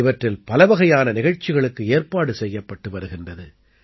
இவற்றில் பலவகையான நிகழ்ச்சிகளுக்கு ஏற்பாடு செய்யப்பட்டு வருகின்றது